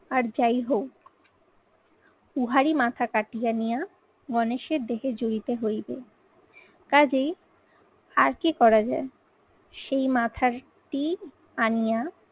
আর যাই হোক উহারী মাথা কাটিয়ে নেয়া গণেশের দেহে জুরিতে হইবে। কাজেই আর কি করা যায় সেই মাথাটি আনিয়া